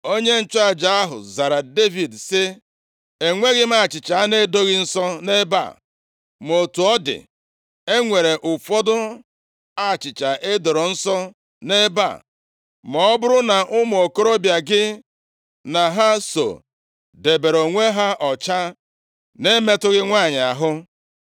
Onye nchụaja ahụ zara Devid sị, “Enweghị m achịcha ana edoghị nsọ nʼebe a. Ma otu ọ dị, e nwere ụfọdụ achịcha e doro nsọ nʼebe a, ma ọ bụrụ na ụmụ okorobịa gị na ha so debere onwe ha ọcha, na-emetụghị nwanyị ahụ.” + 21:4 \+xt Ọpụ 25:30; Lev 24:5-9; Mat 12:4.\+xt*